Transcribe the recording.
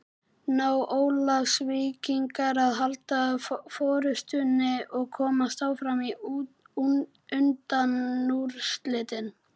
Ná Ólafsvíkingar að halda forystunni og komast áfram í undanúrslitin?